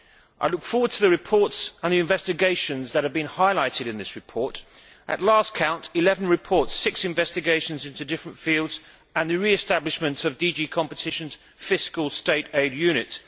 I look forward to the reports and the investigations that have been highlighted in this report at the last count, 11 reports, six investigations into different fields and the re establishment of DG Competition's fiscal State aid unit.